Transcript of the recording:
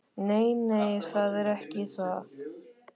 Nei, nei, það er ekki það.